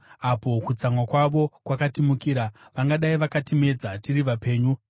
apo kutsamwa kwavo kwakatimukira, vangadai vakatimedza tiri vapenyu;